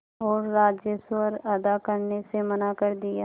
और राजस्व अदा करने से मना कर दिया